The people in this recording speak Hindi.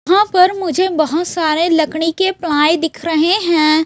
यहां पर मुझे बहोत सारे लकड़ी के प्लाई दिख रहे हैं।